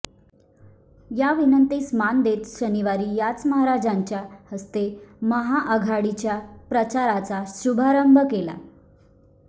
या विनंतीस मान देत शनिवारी याच महाराजांच्या हस्ते महाआघाडीच्या प्रचाराचा शुभारंभ केला